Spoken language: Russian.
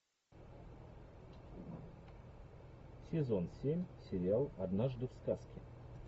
сезон семь сериал однажды в сказке